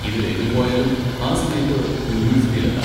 ഇതിലേതിൽ പോയാലും ആ സമയത്ത് യൂണിവേഴ്സിറ്റിയിൽ എത്താം.